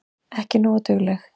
Ekki nógu dugleg.